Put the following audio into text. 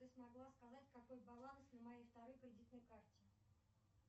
ты смогла сказать какой баланс на моей второй кредитной карте